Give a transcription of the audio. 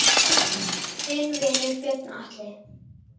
Þinn vinur, Björn Atli.